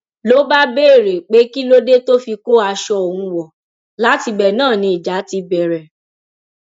ló bá béèrè pé kí ló dé tó fi kó aṣọ òun wọ látibẹ náà ni ìjà ti bẹrẹ